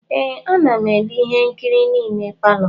Ee, a na m ele ihe nkiri n'ime palọ.